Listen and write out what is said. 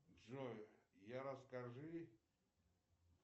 джой я расскажи